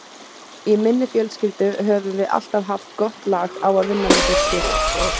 Í minni fjölskyldu höfum við alltaf haft gott lag á að vinna með fólki.